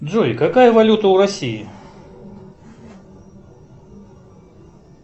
джой какая валюта у россии